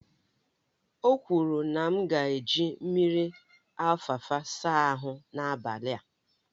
O kwuru na m ga-eji mmiri alfalfa saa ahu n'abalị a